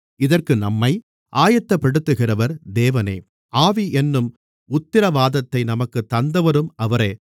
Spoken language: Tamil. இதற்கு நம்மை ஆயத்தப்படுத்துகிறவர் தேவனே ஆவி என்னும் உத்திரவாதத்தை நமக்குத் தந்தவரும் அவரே